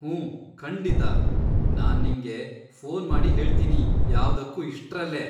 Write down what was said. ಹೂಂ, ಖಂಡಿತಾ, ನಾನ್ ನಿಂಗೆ ಫೋನ್ ಮಾಡಿ ಹೇಳ್ತೀನಿ ಯಾವ್ದಕ್ಕೂ ಇಷ್ಟ್ರಲ್ಲೇ.